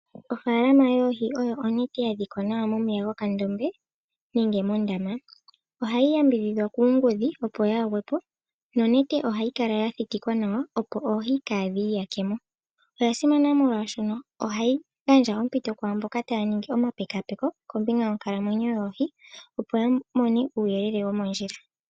Ofaalama yoohi oyo onete yadhikwa nawa momeya gokandombe nenge mondama. Ohayi yambidhidhwa kuungudhi opo yaagwe po, nonete ohayi kala ya thitikwa nawa opo oohi kaa dhi iyake mo. Oya simana molwaashono ohayi gandja ompito kwaamboka taya ningi omapekaapeko kombinga yonkalamwenyo yoohi, opo ya mone uuyelele womondjila.